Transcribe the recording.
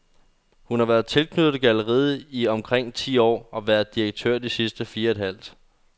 Hun har været tilknyttet galleriet i omkring ti år og været direktør i de sidste fire et halvt.